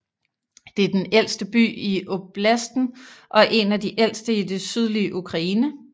Det er den ældste by i oblasten og en af de ældste i det sydlige Ukraine